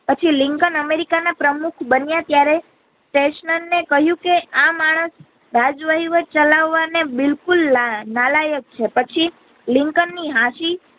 પછી Lincoln America ના પ્રમુખ બનિયા ત્યારે કર્ષણ ને કહ્યું કે આ માણસ બાજ વહીવટ ચલાવ વા ને બિલકુલ નાલાયક છે પછી લિંકનની હસી